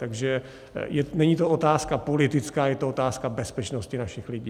Takže to není otázka politická, je to otázka bezpečnosti našich lidí.